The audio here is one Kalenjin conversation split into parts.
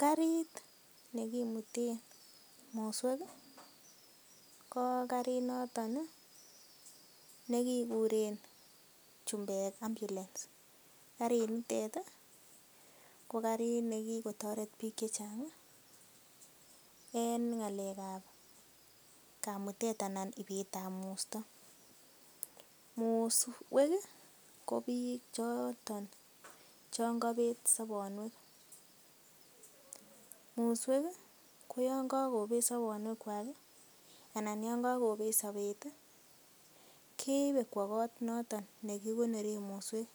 Karit nekimuten muswek ko karit noton ne kiguren chumbek ambulance karinitet ko karit ne kigotoret biik che chang en ng'alekab kamutet anan ibet ab musto. Muswek ko biik choto chon kobet sobonwek. Muswek ko yon kogobet sobonwek kwak anan yon kagobet sobet keibe kwo kot noton ne kigonoren muswek,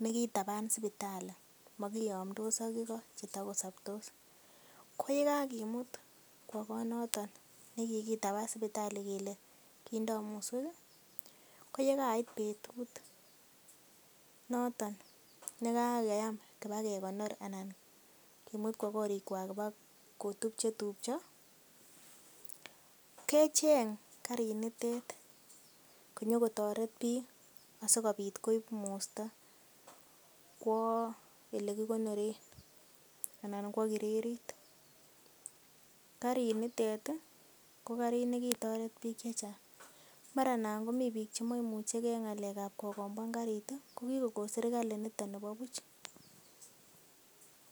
ne kitaban sipitali mogiyomndos ak igo che tago soptos. Ko ye kagimut kwo kot noton ne kigitaban sipitali kele kindo muswek ko ye kait betut noton ne kakoyam kibakekonor anan kimut kwo korikwak kobo kotup che tupcho kecheng' karinitet konyo kotoret biik asikobit koib musto kwo ele kigonoren anan kwo kirerit. Karinitet ko karit ne kitoret biik che chang. Mara nan komi biiik che moimuche ge en ng'alekab kogombwan karit, ko kigokon serkali niton nebo buch.